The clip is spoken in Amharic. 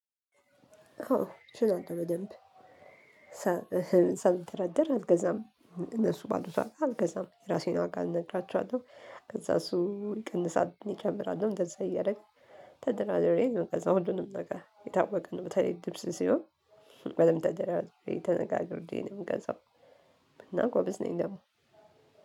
አዎ እችላለሁ በደንብ ሳልደራደር አልገዛም። እነሱ ባሉት ዋጋ አልገዛም ራሴን ዋጋ እነግራቸኋለሁ። ከዛ እሱ ይቀንሳል ይጨምራልም እንደዛ እያረግን። ተደራድሬ የምንገዛው ሁሉንም ነገ የታወቀ ነው። በተለይ ልብስ ሲሆን። በደብ ተደራድሬ ተነጋግሬ ነው ምገዛው። እናጎብዝ ነኝ አዎ።